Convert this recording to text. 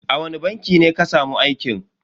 A wani banki ne ka samu aikin?